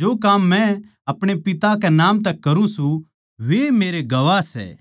जो काम मै अपणे पिता कै नाम तै करूँ सूं वैए मेरे गवाह सै